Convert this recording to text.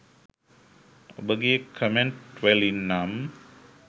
ඔබගේ කමෙන්ට් වලින් නම්